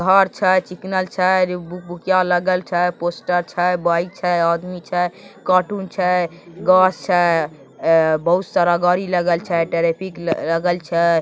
बहुत आचा है की इतना अच्छा है की क्या लागल छे बाइक छे एक आदमी छे कार्टून आचा है घास एकच है बहुत सदर है लागल छे।